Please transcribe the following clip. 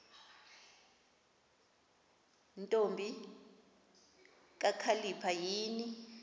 ntombi kakhalipha yini